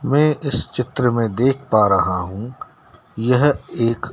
मैं इस चित्र में देख पा रहा हूं यह एक--